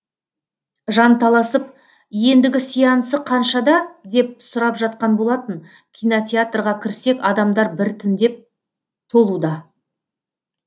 жанталасып ендігі сеансы қаншада деп сұрап жатқан болатын кинотеатрға кірсек адамдар біртіндеп толуда